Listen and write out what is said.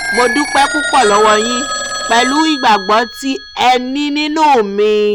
mo dúpẹ́ púpọ̀ lọ́wọ́ yín pẹ̀lú ìgbàgbọ́ tí ẹ ní nínú mi